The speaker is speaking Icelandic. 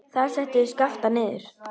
Þar settu þeir Skapta niður.